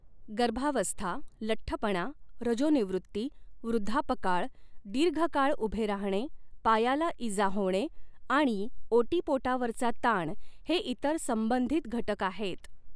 गर्भावस्था, लठ्ठपणा, रजोनिवृत्ती, वृद्धापकाळ, दीर्घकाळ उभे राहणे, पायाला इजा होणे आणि ओटीपोटावरचा ताण हे इतर संबंधित घटक आहेत.